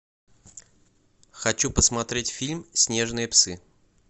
хочу посмотреть фильм снежные псы